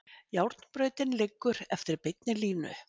Járnbrautin liggur eftir beinni línu.